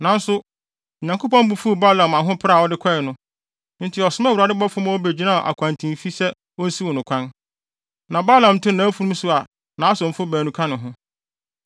Nanso, Onyankopɔn bo fuw Balaam ahopere a ɔde kɔe no; enti ɔsomaa Awurade bɔfo ma ogyinaa akwantemfi sɛ onsiw no kwan. Na Balaam te nʼafurum so a nʼasomfo baanu ka ne ho.